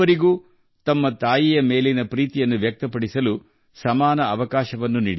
ಈ ಅಭಿಯಾನವು ತಾಯಂದಿರ ಬಗ್ಗೆ ನೈಜ ಪ್ರೀತಿ ವ್ಯಕ್ತಪಡಿಸಲು ನಮಗೆ ಎಲ್ಲರಿಗೂ ಸಮಾನ ಅವಕಾಶ ಒದಗಿಸಿದೆ